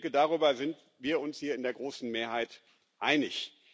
Ich denke, darüber sind wir uns hier in der großen Mehrheit einig.